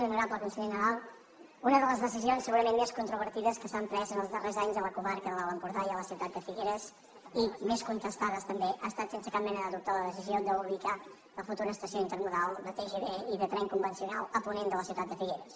honorable conseller nadal una de les decisions segurament més controvertides que s’han pres els darrers anys a la comarca de l’alt empordà i a la ciutat de figueres i més contestades també ha estat sense cap mena de dubte la decisió d’ubicar la futura estació intermodal de tgv i de tren convencional a ponent de la ciutat de figueres